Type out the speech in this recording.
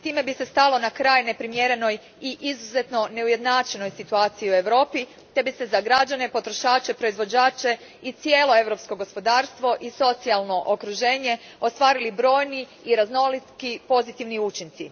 Time bi se stalo na kraj neprimjerenoj i izuzetno neujednačenoj situaciji u Europi te bi se za građane, potrošače, proizvođače i cijelo europsko gospodarsko i socijalno okruženje ostvarili brojni i raznoliki pozitivni učinci.